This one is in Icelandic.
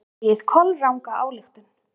Dregið kolranga ályktun!